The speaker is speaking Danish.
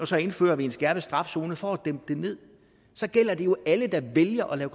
så indfører en skærpet straf zone for at dæmpe det ned så gælder det jo alle der vælger at